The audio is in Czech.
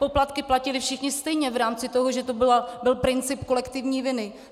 Poplatky platili všichni stejně v rámci toho, že to byl princip kolektivní viny.